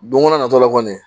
Don ko na natɔla kɔni